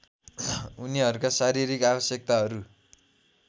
उनीहरूका शारीरिक आवश्यकताहरू